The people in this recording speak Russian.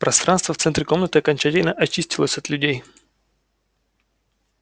пространство в центре комнаты окончательно очистилось от людей